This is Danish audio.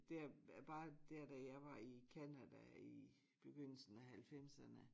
Der at bare dér da jeg var i Canada i begyndelsen af 90'erne